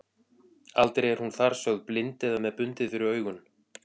Aldrei er hún þar sögð blind eða með bundið fyrir augun.